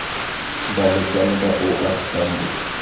balekane ba o r tambo